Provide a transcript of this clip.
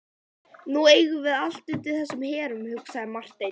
Nú eigum við allt undir þessum herrum, hugsaði Marteinn.